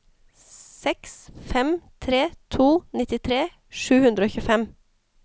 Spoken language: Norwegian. seks fem tre to nittitre sju hundre og tjuefem